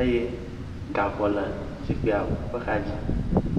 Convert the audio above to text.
eye gaŋɔ le zikpuia ƒe axadzi.